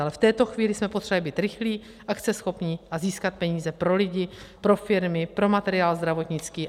Ale v této chvíli jsme potřebovali být rychlí, akceschopní a získat peníze pro lidi, pro firmy, pro materiál zdravotnický.